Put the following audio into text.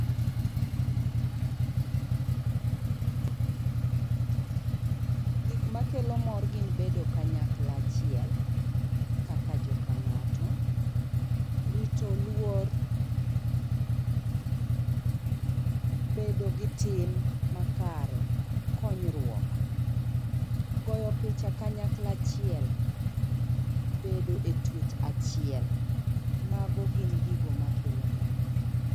Gik makelo mor gin bedo kanyakla achiel kaka joka ng'ato, rito luor, bedo gi tim makare, konyruok, goyo picha kanyakla achiel, bedo e tuech achiel, mago gin gigo makelo mor.